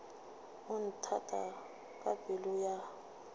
o nthata ka pelo ya